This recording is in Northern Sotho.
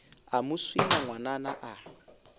a mo swina ngwanana a